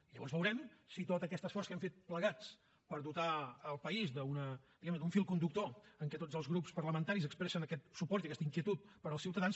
i llavors veurem si tot aquest esforç que hem fet plegats per dotar el país d’un fil conductor en què tots els grups parlamentaris expressen aquest suport i aquesta inquietud pels ciutadans